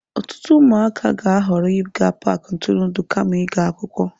Ọtụtụ ụmụaka ga-ahọrọ ịga paaki ntụrụndụ kama ịga akwụkwọ.